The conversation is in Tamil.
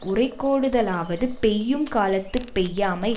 உறைகோடுதலாவது பெய்யும் காலத்துப் பெய்யாமை